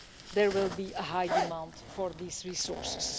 there will be a high demand for these resources.